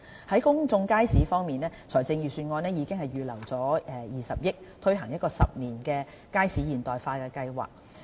在公眾街市方面，財政預算案已預留20億元，推行10年"街市現代化計劃"。